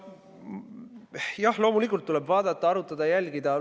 Jah, loomulikult tuleb vaadata, arutada, jälgida.